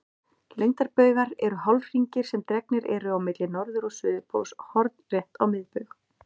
Lengdarbaugar eru hálfhringir sem dregnir eru á milli norður- og suðurpóls hornrétt á miðbaug.